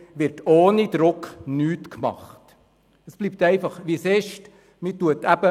Da wird ohne Druck nichts gemacht, und es bleibt dann eben, wie es ist.